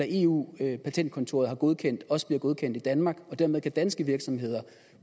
eu patentkontoret har godkendt også bliver godkendt i danmark og dermed kan danske virksomheder